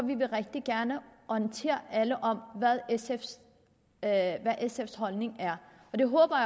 vil vi rigtig gerne orientere alle om hvad sfs holdning er og det håber